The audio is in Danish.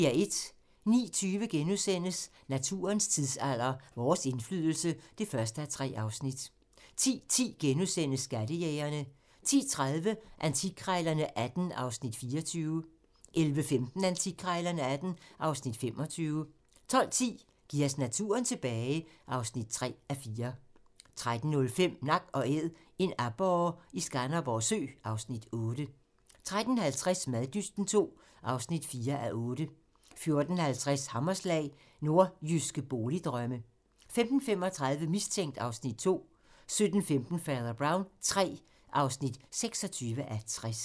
09:20: Naturens tidsalder - Vores indflydelse (1:3)* 10:10: Skattejægerne * 10:30: Antikkrejlerne XVIII (Afs. 24) 11:15: Antikkrejlerne XVIII (Afs. 25) 12:10: Giv os naturen tilbage (3:4) 13:05: Nak & Æd - en aborre i Skanderborg Sø (Afs. 8) 13:50: Maddysten II (4:8) 14:50: Hammerslag - Nordjyske boligdrømme 15:35: Mistænkt (Afs. 2) 17:15: Fader Brown III (26:60)